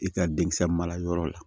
I ka denkisɛ marayɔrɔ la